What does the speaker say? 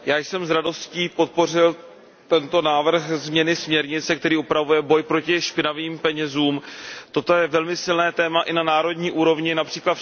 Pane předsedající, já jsem s radostí podpořil tento návrh změny směrnice, který upravuje boj proti špinavým penězům. Toto je velmi silné téma i na národní úrovni, např.